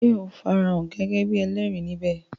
Sé o farahàn gẹ́gẹ́ bíi ẹlẹ́rìí ní bè?